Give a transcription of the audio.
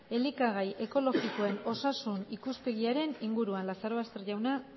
elikagai ekologikoen osasun ikuspegiaren inguruan lazarobaster jauna